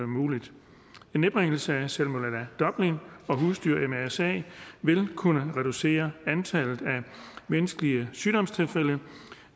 muligt en nedbringelse af tilfælde af salmonella dublin og husdyr mrsa vil kunne reducere antallet af menneskelige sygdomstilfælde